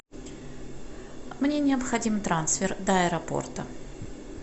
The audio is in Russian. мне необходим трансфер до аэропорта